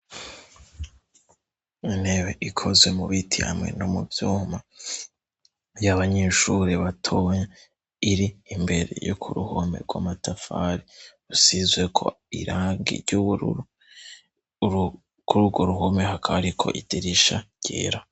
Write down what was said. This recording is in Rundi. Untebe ikozwe mu bitiyamwe no mu vyuma ry'abanyishuri batona iri imbere yo ku ruhome rwamatafari rusizwe ko iragi ry'ubururu ku r urwo ruhome hakariko iderisha ryera.